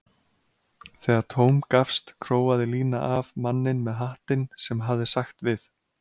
Þegar tóm gafst króaði Lína af manninn með hattinn sem hafði sagt við